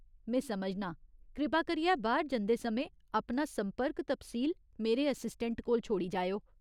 में समझनां । कृपा करियै बाह्‌र जंदे समें अपना संपर्क तफसील मेरे असिस्टैंट कोल छोड़ी जाएओ।